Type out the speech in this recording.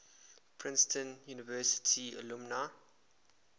princeton university alumni